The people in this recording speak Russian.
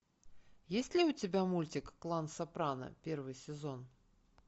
есть ли у тебя мультик клан сопрано первый сезон